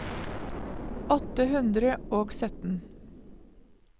åtte hundre og sytten